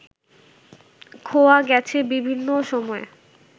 খোয়া গেছে বিভিন্ন সময়ে